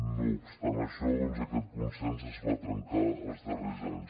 no obstant això doncs aquest consens es va trencar els darrers anys